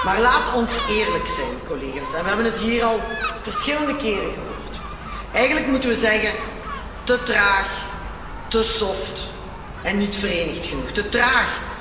Maar laat ons eerlijk zijn, collega's en we hebben het hier al verschillende keren gehoord eigenlijk moeten we zeggen te traag, te en niet verenigd genoeg. Te traag.